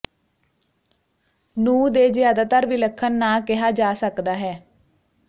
ਨੂੰ ਦੇ ਜ਼ਿਆਦਾਤਰ ਵਿਲੱਖਣ ਨਾ ਕਿਹਾ ਜਾ ਸਕਦਾ ਹੈ